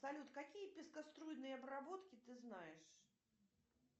салют какие пескоструйные обработки ты знаешь